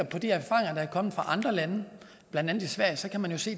på de erfaringer der er kommet fra andre lande blandt andet sverige kan man jo se